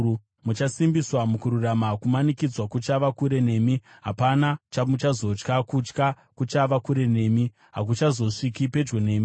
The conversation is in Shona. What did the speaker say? Muchasimbiswa mukururama: Kumanikidzwa kuchava kure nemi: hapana chamuchazotya. Kutya kuchava kure nemi; hakuchazosviki pedyo nemi.